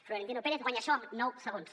florentino pérez guanya això en nou segons